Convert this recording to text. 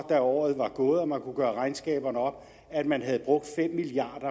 året var gået og man kunne gøre regnskaberne op at man havde brugt fem milliard